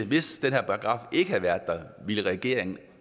hvis den her paragraf ikke havde været der ville regeringen